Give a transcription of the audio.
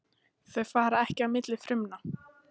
Þau fara ekki á milli frumna.